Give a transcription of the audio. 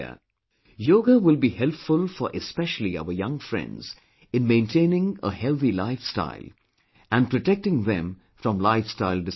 Yoga will be helpful for especially our young friends, in maintaining a healthy lifestyle and protecting them from lifestyle disorders